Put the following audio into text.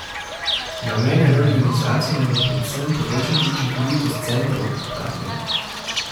Namen reorganizacije naj bo predvsem povečati učinkovitost centrov, pravijo.